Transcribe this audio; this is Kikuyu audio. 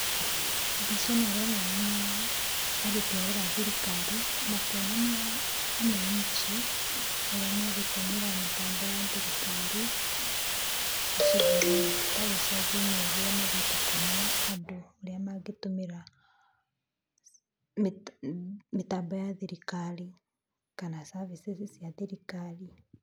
Mbica ĩno ĩronania aruti a wĩra a thirikari, makĩonania wananchi ũrĩa megũtũmĩra mĩtambo ya thirikari, ta icagi-inĩ ũguo mathiĩte kuonia andũ ũrĩa mangĩtũmĩra mĩtambo ya thirikari kana services cia thirikari.